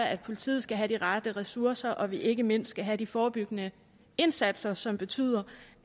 at politiet skal have de rette ressourcer og at vi ikke mindst skal have de forebyggende indsatser som betyder